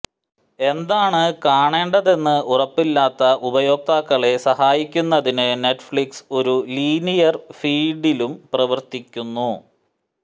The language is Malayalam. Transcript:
എന്താണ് കാണേണ്ടതെന്ന് ഉറപ്പില്ലാത്ത ഉപയോക്താക്കളെ സഹായിക്കുന്നതിന് നെറ്റ്ഫ്ലിക്സ് ഒരു ലീനിയര് ഫീഡിലും പ്രവര്ത്തിക്കുന്നു